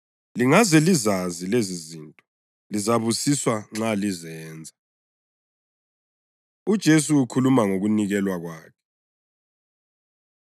Lingaze lizazi lezizinto lizabusiswa nxa lizenza.” UJesu Ukhuluma Ngokunikelwa Kwakhe